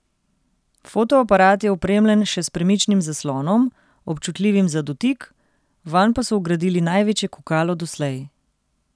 Fotoaparat je opremljen še s premičnim zaslonom, občutljivim za dotik, vanj pa so vgradili največje kukalo doslej.